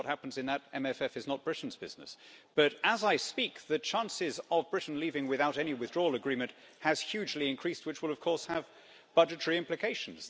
Obviously, what happens in that MFF is not Britain's business, but as I speak, the chances of Britain leaving without any withdrawal agreement has hugely increased, which will of course have budgetary implications.